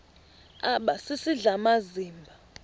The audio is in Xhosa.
aba sisidl amazimba